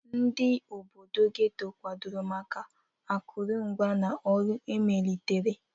Ndị obodo Getto kwadoro maka akụrụngwa na ọrụ emelitere.